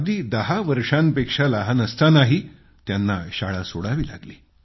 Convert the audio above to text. अगदी दहा वर्षांपेक्षा लहान असतानाही त्यांना आपली शाळा सोडावी लागली